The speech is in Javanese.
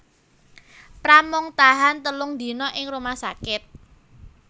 Pram mung tahan telung dina ing rumah sakit